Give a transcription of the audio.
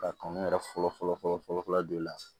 Ka kan yɛrɛ fɔlɔ fɔlɔ don la